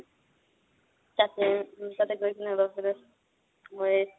তাতে, তাতে গৈ কিনে মই